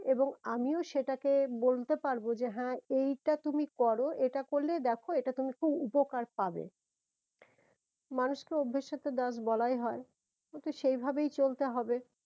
এবং আমিও সেটাকে বলতে পারবো যে হ্যাঁ এইটা তুমি করো এইটা করলে দেখো এটা তুমি খুব উপকার পাবে মানুষ তো অভ্যেস এর তো দাস বলাই হয়ে সেই ভাবেই চলতে হবে